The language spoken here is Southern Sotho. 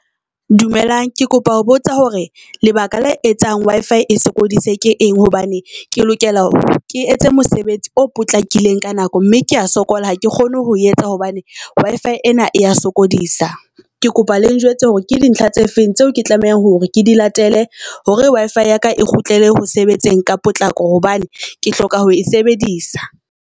Dumelang ke kopa ho botsa hore lebaka la etsang Wi-Fi e sokodise ke eng hobane ke lokela ke etse mosebetsi o potlakileng ka nako mme kea sokola. Ha ke kgone ho etsa hobane Wi-Fi ena ya sokodisa. Ke kopa le njwetse hore ke di ntlha tse feng tseo ke tlameha hore ke di latele hore Wi-Fi ya ka e kgutlele ho sebetseng ka potlako, hobane ke hloka ho e sebedisa.